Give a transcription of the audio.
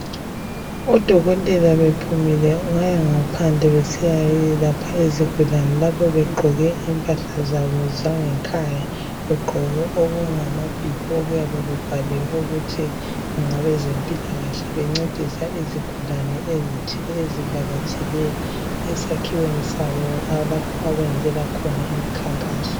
odokotela bephumile baya ngaphandle besiya yelapha izigulane lapho begqoke impahla zabo zangekhaya begqoke okumabhibhi okuyabe ebhaliwe ukuthi ngabezempilakahle bencedisa izigulane ezithile ezivakatshele esakhiweni sabo lapho abeyenzela khona imikhankaso